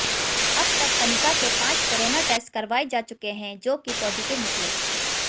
अब तक कनिका के पांच कोरोना टेस्ट करवाए जा चुके हैं जो कि पॉजिटिव निकले